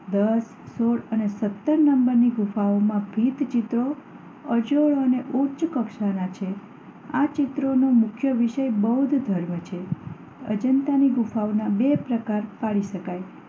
દસ, સોળ અને સત્તર નંબરની ગુફાઓનાં ભીંતચિત્રો અજોડ અને ઉચ્ચકક્ષાનાં છે. આ ચિત્રોનો મુખ્ય વિષય બૌદ્ધધર્મ છે. અજંતાની ગુફાઓના બે પ્રકાર પાડી શકાય